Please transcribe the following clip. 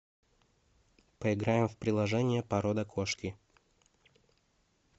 поиграем в приложение порода кошки